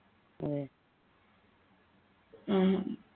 അതെ